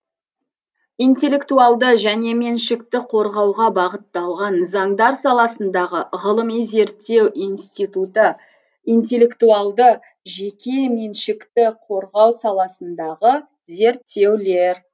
интеллектуалды жеке меншікті қорғауға бағытталған заңдар саласындағы ғылыми зерттеу институты интеллектуалды жеке меншікті қорғау саласындағы зерттеулер